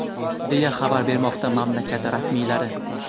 deya xabar bermoqda mamlakat rasmiylari.